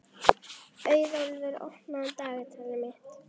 Auðólfur, opnaðu dagatalið mitt.